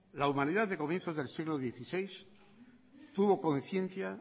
la humanidad de comienzos del siglo dieciséis tuvo conciencia